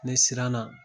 Ne siranna